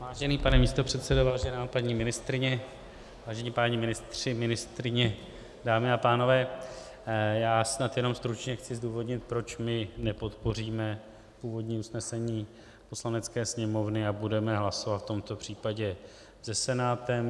Vážený pane místopředsedo, vážená paní ministryně, vážení páni ministři, ministryně, dámy a pánové, já snad jenom stručně chci zdůvodnit, proč my nepodpoříme původní usnesení Poslanecké sněmovny a budeme hlasovat v tomto případě se Senátem.